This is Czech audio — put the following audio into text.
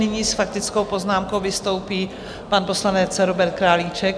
Nyní s faktickou poznámkou vystoupí pan poslanec Robert Králíček.